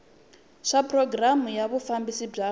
swa programu ya vufambisi bya